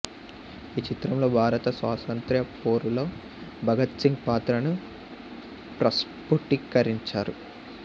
ఈ చిత్రంలో భారత స్వాతంత్ర్య పోరులో భగత్ సింగ్ పాత్రను ప్రస్ఫుటీకరించారు